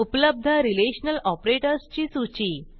उपलब्ध relational operators ची सूची